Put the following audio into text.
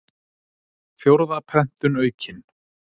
Fjórða prentun aukin.